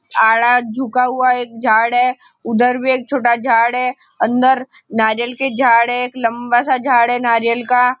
आडा झुका हुआ एक झाड़ है उधर भी छोटा झाड है अंदर नारियाल के झाड़ है एक लम्बा सा झाड़ है नारियाल का।